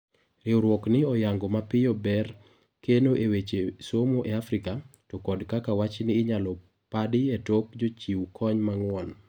Riuruok ni oyango mapiyo ber keno e weche somo e Afrika ,to kod kaka wachni inyalo padi etok jochiw kony mang'uon.